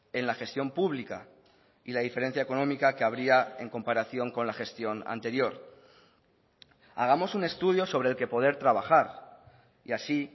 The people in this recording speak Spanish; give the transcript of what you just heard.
en la gestión pública y la diferencia económica que habría en comparación con la gestión anterior hagamos un estudio sobre el que poder trabajar y así